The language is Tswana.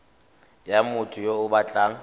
ya motho yo o batlang